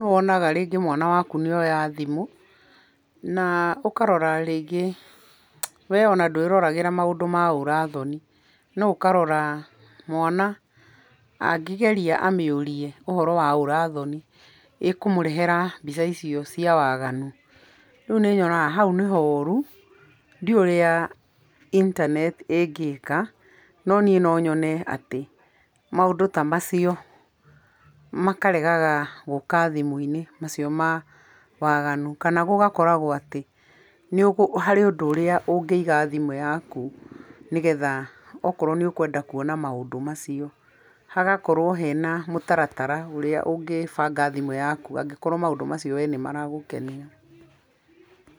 Nĩ wonaga rĩngĩ mwana waku nĩoya thimũ, na ũkarora rĩngĩ we ona ndwĩroragĩra maũndũ ma ũra thoni, no ũkarora mwana, angĩgeria amĩũrie ũhoro wa ũrathoni, ĩkũmũrehera mbica icio cia waganu. Rĩu nĩnyonaga hau nĩhoru, ndiũĩ ũrĩa internet ĩngĩka, no niĩ no nyone atĩ, maũndũ ta macio, makaregaga gũka thimũ-inĩ, macio ma waganu. Kana gũgakoragwo atĩ harĩ ũndũ ũrĩa ũngĩiga thimũ yaku nĩgetha akorwo nĩ ũkwenda kuona maũndũ macio, hagakorwo hena mũtaratara ũrĩa ũngĩbanga thimũ yaku angĩkorwo maũndũ macio we nĩ maragũkenia.